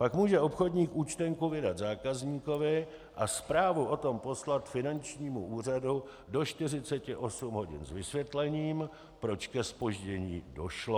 Pak může obchodník účtenku vydat zákazníkovi a zprávu o tom poslat finančnímu úřadu do 48 hodin s vysvětlením, proč ke zpoždění došlo.